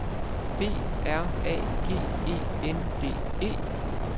B R A G E N D E